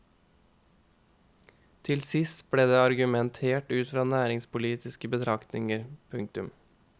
Til sist ble det argumentert ut fra næringspolitiske betraktninger. punktum